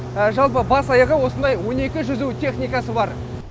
жалпы бас аяғы осындай он екі жүзу техникасы бар